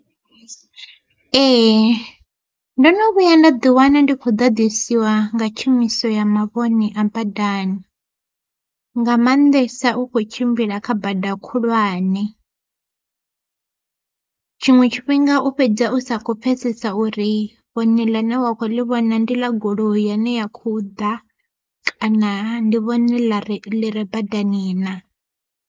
Ee ndo no vhuya nda ḓi wana ndi kho ḓa ḓisiwa nga tshumiso ya mavhone a badani, nga maanḓesa u kho tshimbila kha bada khulwane. Tshiṅwe tshifhinga u fhedza u sa kho pfhesesa uri vhone ḽane wa kho ḽi vhona ndi ḽa goloi yane ya kho ḓa kana ndi vhone ḽare ḽire badani na.